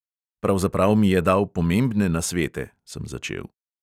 "Pravzaprav mi je dal pomembne nasvete," sem začel.